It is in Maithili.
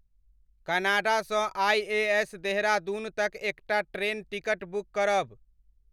कनाडा सँ आइएएस देहरादून तक एकटा ट्रेन टिकट बुक करब।